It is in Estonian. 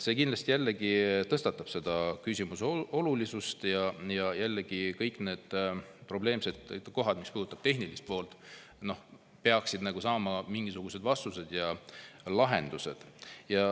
See kindlasti suurendab selle küsimuse olulisust ja, et kõik need probleemsed kohad, mis puudutavad tehnilist poolt, peaksid saama mingisugused vastused ja lahendused.